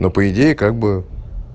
но по идее как бы